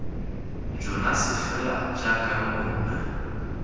jonase fela jaaka lo bona